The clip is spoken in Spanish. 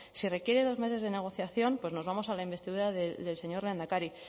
se requieren dos meses de negociación pues nos vamos a la investidura del señor lehendakari